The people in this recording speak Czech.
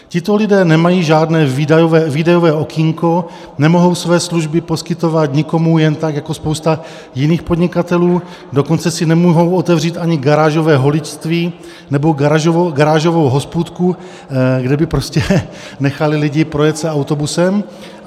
Tito lidé nemají žádné výdajové okýnko, nemohou své služby poskytovat nikomu jen tak jako spousta jiných podnikatelů, dokonce si nemohou otevřít ani garážové holičství nebo garážovou hospůdku, kde by prostě nechali lidi projet se autobusem.